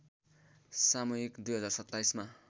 सामयिक २०२७ मा